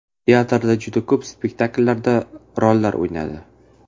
Teatrda juda ko‘p spektakllarda rollar o‘ynadi.